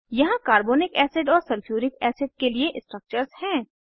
यहाँ carbonic acid और sulphuric acid के लिए स्ट्रक्चर्स हैं